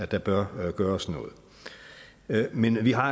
der bør gøres noget men vi har